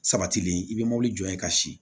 Sabatilen i bɛ mobili jɔ yen ka si